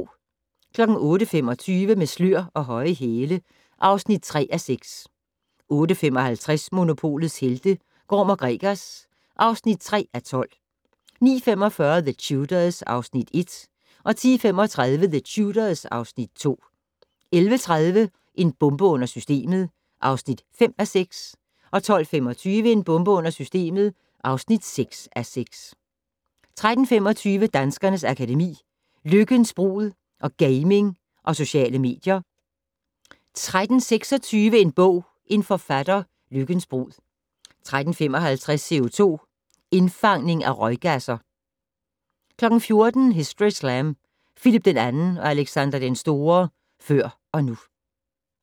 08:25: Med slør og høje hæle (3:6) 08:55: Monopolets helte - Gorm & Gregers (3:12) 09:45: The Tudors (Afs. 1) 10:35: The Tudors (Afs. 2) 11:30: En bombe under systemet (5:6) 12:25: En bombe under systemet (6:6) 13:25: Danskernes Akademi: Lykkens brud & Gaming og Sociale medier 13:26: En bog - en forfatter: Lykkens brud 13:55: CO2-indfangning fra røggasser 14:00: Historyslam: Phillip II og Alexander den Store - før og nu